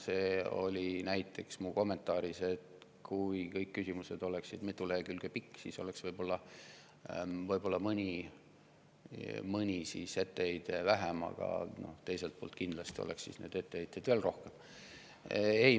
Mu kommentaar oli näiteks, et kui kõik oleksid mitu lehekülge pikad, siis oleks võib-olla mõni etteheide vähem, aga teiselt poolt oleks kindlasti neid etteheiteid veel rohkem.